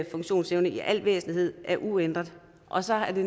funktionsevnen i al væsentlighed er uændret og så er det